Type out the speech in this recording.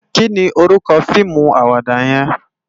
Ki ni órúkò fiimú àwàdá yèn?